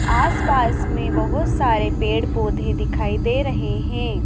आस पास में बहोत सारे पेड़ पौधे दिखाई दे रहे हैं।